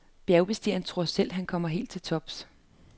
Bjergbestigeren tror selv, han kommer helt til tops.